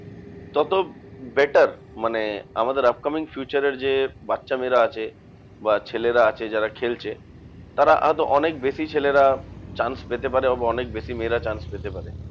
তত better. মানে আমাদের upcoming future এর যে বাচ্চা মেয়েরা আছে বা ছেলেরা আছে যারা খেলছে, তারা আরো অনেক বেশি ছেলেরা chance পেতে পারে অনেক বেশি মেয়েরা chance পেতে পারে।